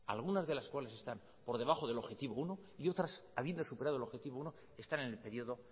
algunas de las cuales están por debajo del objetivo uno y otras habiendo superado el objetivo uno están en el periodo